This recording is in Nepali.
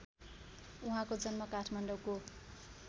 उहाँको जन्म काठमाडौँको